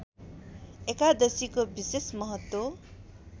एकादशीको विशेष महत्त्व